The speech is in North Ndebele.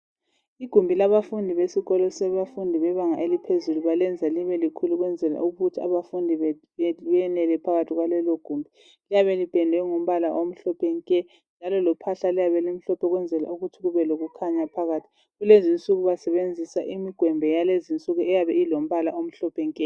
Igumbi labafundi lesikolo lebanga eliphezulu balenza libe likhulu ukwenzela ukuthi abafundi bemele phakathi kwalelo gumbi liyabe lipendwe ngombala omhlophe nke njalo lophahla luyabe lumhlophe ukwenzela ukuthi kube lokukhanya phakathi kulezi insuku basebenzisa imigwembe yakulezi insuku eyabe ilombala omhlophe nke